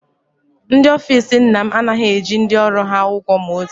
Ndị ofiisi nna m anaghị eji ndị ọrụ ha ụgwọ ma otu